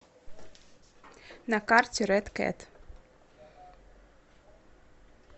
на карте рэд кэт